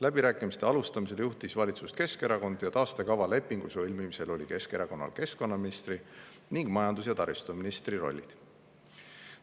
Läbirääkimiste alguses juhtis valitsust Keskerakond ja taastekava lepingu sõlmimisel oli Keskerakonnal keskkonnaministri ning majandus- ja taristuministri.